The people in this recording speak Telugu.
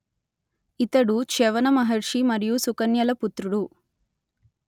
ఇతడు చ్యవన మహర్షి మరియు సుకన్యల పుత్రుడు